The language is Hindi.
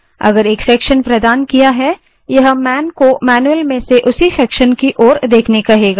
यदि एक section प्रदान किया है यह man को मैन्यूअल में से उसी section की ओर देखने के लिए कहेगा